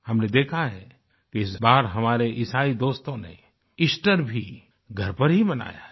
हमने देखा है कि इस बार हमारे ईसाई दोस्तों ने ईस्टरEaster भी घर पर ही मनाया है